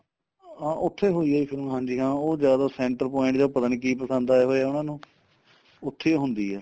ਹਾਂ ਉੱਥੇ ਹੋਈ ਏ ਜੀ ਫਿਲਮ ਹਾਂਜੀ ਹਾਂ ਉਹ ਜਿਆਦਾ center point ਜਾ ਪਤਾ ਨੀਂ ਕੀ ਪਸੰਦ ਆਇਆ ਹੋਇਆ ਉਹਨਾ ਨੂੰ ਉੱਥੇ ਈ ਹੁੰਦੀ ਏ